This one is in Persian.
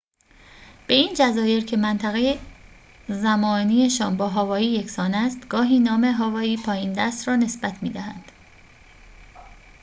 به این جزایر که منطقه زمانی‌شان با هاوایی یکسان است گاهی نام هاوایی پایین‌دست را نسبت می‌دهند